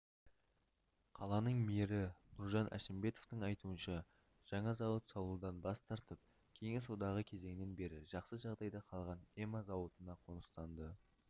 қаланың мэрі нұржан әшімбетовтың айтуынша жаңа зауыт салудан бас тартып кеңес одағы кезінен бері жақсы жағдайда қалған эма зауытына қоныстанды